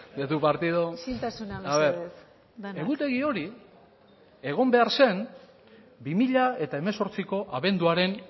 de tu partido a ver egutegi hori hori egon behar zen bi mila hemezortziko abenduaren